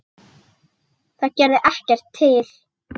Það gerði ekkert til.